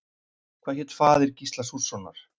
Hvað hét faðir Gísla Súrssonar?